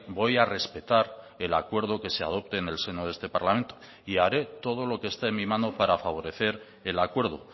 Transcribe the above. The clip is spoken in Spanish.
voy a respetar el acuerdo que se adopte en el seno de este parlamento y haré todo lo que esté en mi mano para favorecer el acuerdo